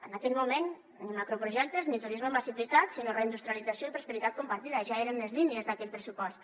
en aquell moment ni macroprojectes ni turisme massificat sinó reindustrialització i prosperitat compartida ja eren les línies d’aquell pressupost